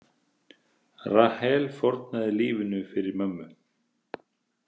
Rahel fórnaði lífinu fyrir mömmu.